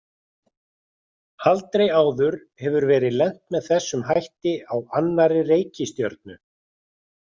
Aldrei áður hefur verið lent með þessum hætti á annarri reikistjörnu.